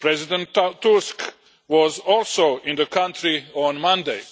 President Tusk was also in the country on Monday.